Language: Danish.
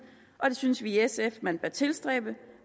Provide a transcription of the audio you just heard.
og det synes vi i sf man bør tilstræbe